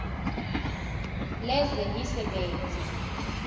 lezemisebenzi